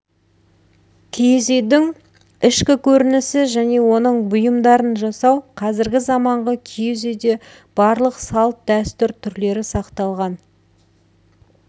киіз үйдің ішкі көрінісі және оның бұйымдарын жасау қазіргі заманғы киіз үйде барлық салт-дәстүр түрлері сақталған